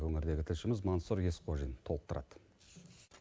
өңірдегі тілшіміз мансұр есқожин толықтырады